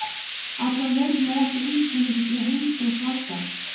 Allavega veitir mér ekki af undirbúningi fyrir heimsókn Valgarðs.